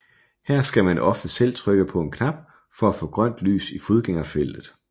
Her skal man ofte selv trykke på en knap for at få grønt lys i fodgængerfeltet